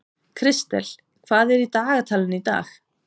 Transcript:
Kristel, hvað er í dagatalinu í dag?